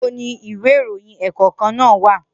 Nibo ni ìwé ìròyìn ẹ́ẹ́kọ̀kkan naa wa?